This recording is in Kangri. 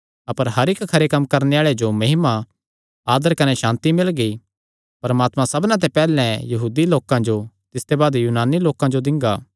अपर हर इक्क खरे कम्म करणे आल़े जो महिमा आदर कने सांति मिलगी परमात्मा सबना ते पैहल्ले यहूदी लोकां जो तिसते बाद यूनानी लोकां जो दिंगा